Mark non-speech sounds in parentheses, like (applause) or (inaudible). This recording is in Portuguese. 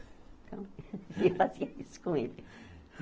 Então, (laughs) eu fazia isso com ele.